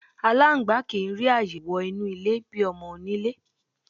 Aláǹgbá kì í rí ààyè wo̩ inú ilé bi o̩mo̩-oníle.